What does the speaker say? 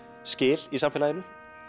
skil í samfélaginu